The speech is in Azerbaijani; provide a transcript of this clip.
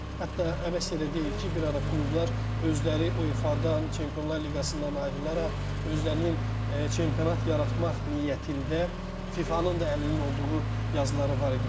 Hətta əməkçi də deyir ki, bir ara klublar özləri UEFA-dan, Çempionlar Liqasından ayrılaraq özlərinin çempionat yaratmaq niyyətində FIFA-nın da əlinin olduğu yazıları var idi ki,